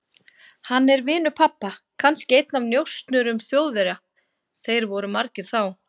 Hann er vinur pabba, kannski einn af njósnurum Þjóðverja, þeir voru margir þá.